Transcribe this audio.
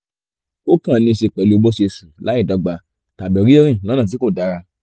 ó kàn níí ṣe pèlú bó ṣe ṣù láìdọ́gba tàbí rírìn lọ́nà tí kò dára